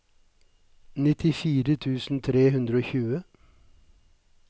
nittifire tusen tre hundre og tjue